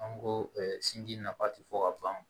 An ko sinji nafa ti fo ka ban